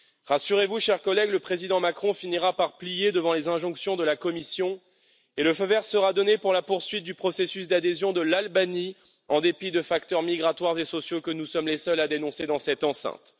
Rassurez vous, chers collègues, le président Macron finira par plier devant les injonctions de la Commission et le feu vert sera donné pour la poursuite du processus d'adhésion de l'Albanie, en dépit de facteurs migratoires et sociaux que nous sommes les seuls à dénoncer dans cette enceinte.